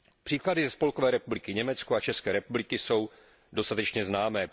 Příklady ze Spolkové republiky Německo a z České republiky jsou dostatečně známé.